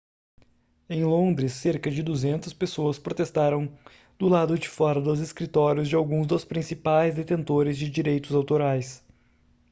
em londres cerca de 200 pessoas protestaram do lado de fora dos escritórios de alguns dos principais detentores de direitos autorais